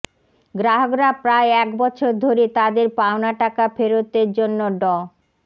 গ্রাহকরা প্রায় এক বছর ধরে তাদের পাওনা টাকা ফেরতের জন্য ড